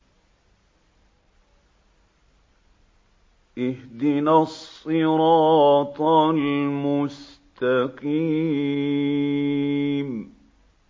اهْدِنَا الصِّرَاطَ الْمُسْتَقِيمَ